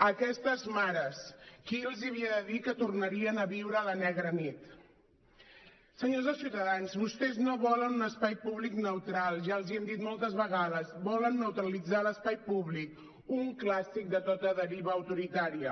a aquestes mares qui els havia de dir que tornarien a viure la negra nit senyors de ciutadans vostès no volen un espai públic neutral ja els ho hem dit moltes vegades volen neutralitzar l’espai públic un clàssic de tota deriva autoritària